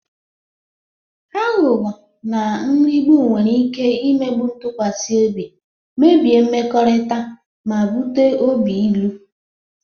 Aghụghọ na nrigbu nwere ike imebi ntụkwasị obi, mebie mmekọrịta, ma bute obi ilu.